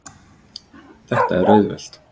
Þetta er auðvelt.